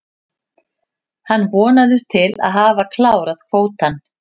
Hann vonast til að hafa klárað kvótann.